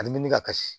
A nimini ka kasi